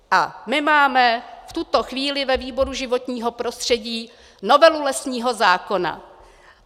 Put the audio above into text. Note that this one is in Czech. A my máme v tuto chvíli ve výboru životního prostředí novelu lesního zákona.